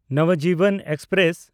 Navjeevan express